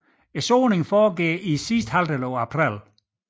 Såningen foregår i sidste halvdel i april